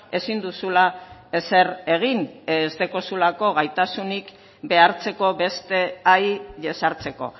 ezin duzula ezer egin ez daukazulako gaitasunik behartzeko beste jesartzeko